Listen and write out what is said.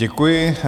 Děkuji.